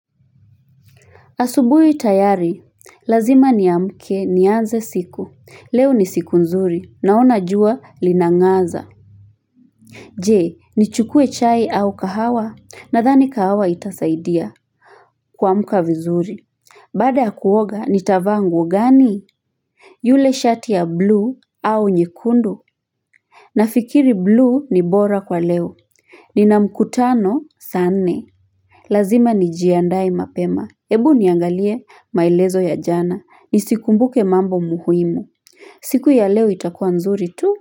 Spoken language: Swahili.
Asubuhi tayari, lazima niamke nianze siku, leo ni siku nzuri naona jua linangaza. Je, nichukue chai au kahawa nadhani kahawa itasaidia kuamka vizuri. Baada ya kuoga, nitavaa nguo gani? Yule shati ya bluu au nyekundu? Na fikiri bluu ni bora kwa leo. Nina mkutano saa nne. Lazima nijiandae mapema. Ebu niangalie maelezo ya jana. Nisikumbuke mambo muhimu. Siku ya leo itakua nzuri tu.